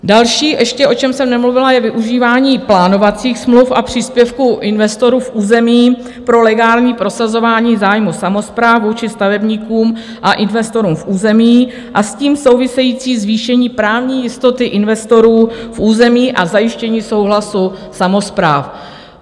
Další ještě, o čem jsem nemluvila, je využívání plánovacích smluv a příspěvků investorů v území pro legální prosazování zájmů samospráv či stavebníkům a investorům v území a s tím související zvýšení právní jistoty investorů v území a zajištění souhlasu samospráv.